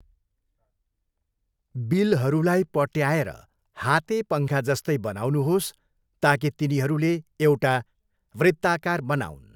बिलहरूलाई पट्याएर हाते पङ्खाजस्तै बनाउनुहोस् ताकि तिनीहरूले एउटा वृत्ताकार बनाऊन्।